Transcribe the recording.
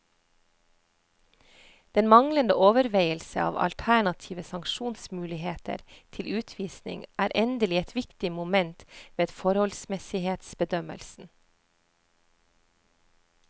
Den manglende overveielse av alternative sanksjonsmuligheter til utvisning er endelig et viktig moment ved forholdsmessighetsbedømmelsen.